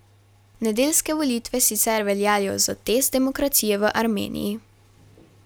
Nedeljske volitve sicer veljajo za test demokracije v Armeniji.